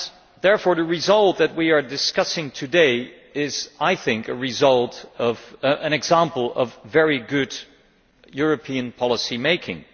Therefore, the result that we are discussing today is, I think, an example of very good European policy making.